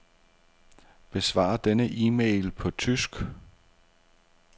Besvar denne e-mail på tysk.